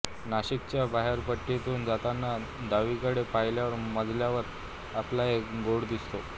नाशिकच्या बोहरपट्टीतून जातांना डावीकडे पाहिल्या मजल्यावर आपल्याला एक बोर्ड दिसतो